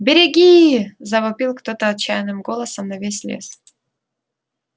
береги завопил кто-то отчаянным голосом на весь лес